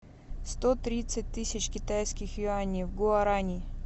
сто тридцать тысяч китайских юаней в гуарани